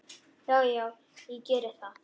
Já, já, ég geri það.